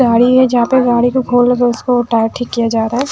गाड़ी है जहाँ पे गाड़ी के को उठाके किया जा रहा है।